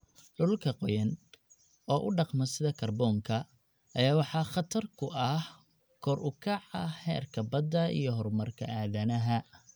Dhulalka qoyan, oo u dhaqma sida kaarboonka, ayaa waxaa khatar ku ah kor u kaca heerka badda iyo horumarka aadanaha.